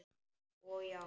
Og já.